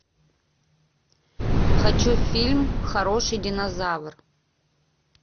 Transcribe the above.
хочу фильм хороший динозавр